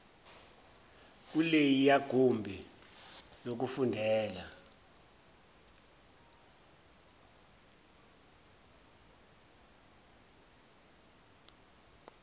kuleliya gumbi lokufundela